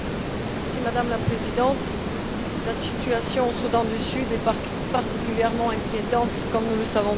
Madame la Présidente, la situation au Soudan du Sud est particulièrement inquiétante comme nous le savons tous.